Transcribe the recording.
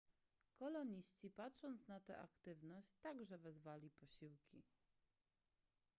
koloniści patrząc na tę aktywność także wezwali posiłki